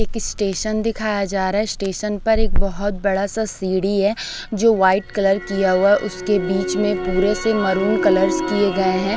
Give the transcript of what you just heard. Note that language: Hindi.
एक स्टेशन दिखाया जा रहा है स्टेशन पर एक बहोत बड़ा सा सीढ़ी है जो वाइट कलर किया हुआ उसके बीच में पूरे से मैरून कलर्स किए गए हैं।